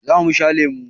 Za mu sha lemu.